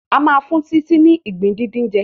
A má fún Titi ni ìgbín díndín jẹ.